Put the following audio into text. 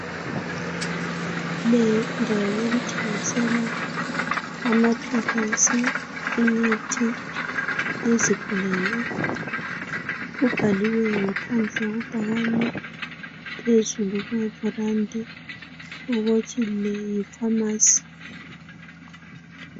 Le yindawo yokuthengisela amaphilisi imithi yezigulane. Kubhaliwe ngaphandle kwebhakane phezulu kweverandi ukuthi ke Yi pharmacy.